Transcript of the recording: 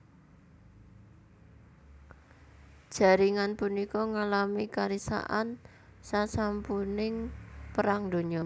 Jaringan punika ngalami karisakan sasampuning Perang Donya